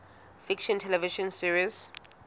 fiction television series